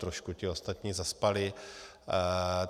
Trošku ti ostatní zaspali.